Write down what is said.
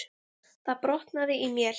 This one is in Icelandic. Það brotnaði í mél.